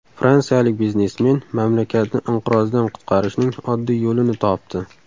Fransiyalik biznesmen mamlakatni inqirozdan qutqarishning oddiy yo‘lini topdi.